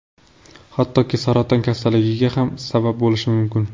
Hattoki saraton kasalligiga ham sabab bo‘lishi mumkin.